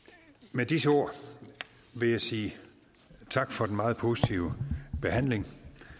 med disse ord vil jeg sige tak for den meget positive behandling